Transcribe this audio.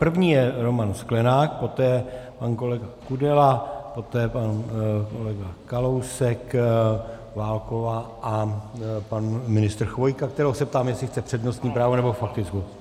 První je Roman Sklenák, poté pan kolega Kudela, poté pan kolega Kalousek, Válková a pan ministr Chvojka, kterého se ptám, jestli chce přednostní právo, nebo faktickou.